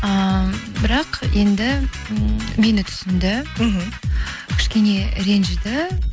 ііі бірақ енді мені түсінді мхм кішкене ренжіді